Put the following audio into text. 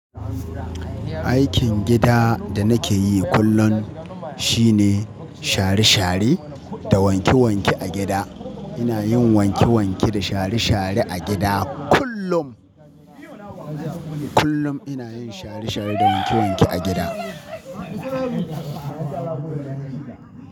Aikin gida da nake yi kullum shine share-share da wanke-wanke a gida. Ina yin wanke-wanke da share-share a gida kullum. Kullum ina yin share-share da wanke-wanke a gida.